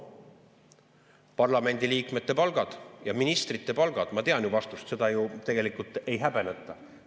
Parlamendi liikmete palgad ja ministrite palgad – ma tean vastust, seda ju tegelikult ei häbeneta.